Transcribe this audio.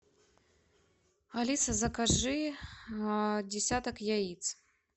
алиса закажи десяток яиц